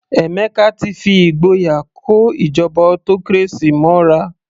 Emeka ti fi ìgboyà kó ìjọba autocracy mọ́ra.